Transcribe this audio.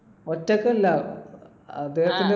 ഒറ്റക്കല്ല അദ്ദേഹത്തിന്റെ കൂടെ